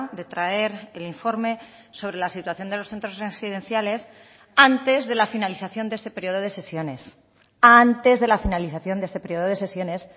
de traer el informe sobre la situación de los centros residenciales antes de la finalización de este periodo de sesiones antes de la finalización de este periodo de sesiones